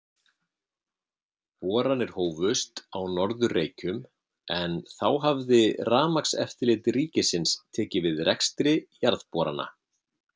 Boranir hófust á Norður-Reykjum, en þá hafði Rafmagnseftirlit ríkisins tekið við rekstri jarðborana.